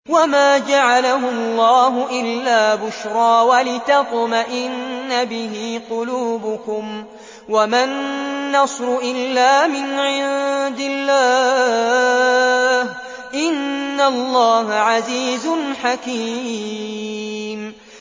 وَمَا جَعَلَهُ اللَّهُ إِلَّا بُشْرَىٰ وَلِتَطْمَئِنَّ بِهِ قُلُوبُكُمْ ۚ وَمَا النَّصْرُ إِلَّا مِنْ عِندِ اللَّهِ ۚ إِنَّ اللَّهَ عَزِيزٌ حَكِيمٌ